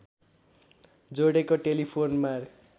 जोडेको टेलिफोनमा